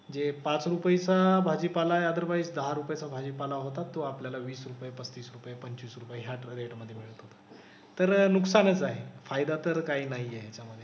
जे पाच रुपयाचं भाजीपाला आहे अदरवाईस दहा रुपयाचा भाजीपाला होत असतो. आपल्याला वीस रुपये, पस्तीस रुपये, पंचवीस रुपये ह्याच रेट मधे मिळत होता. तर नुकसानच आहे. फायदा तर काही नाही आहे ह्याच्यामधे.